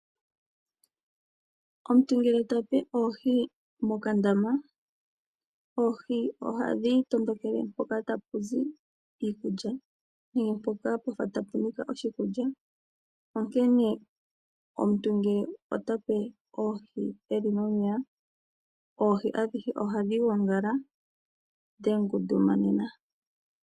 Omuntu ngele to pe oohi mokandama, oohi ohadhi tondokele mpoka tapu zi iikulya nenge mpoka pwafa tapu nika oshikulya. Onkene omuntu ngele to pe oohi dhi li momeya, oohi ohadhi gongala dha ngundumana.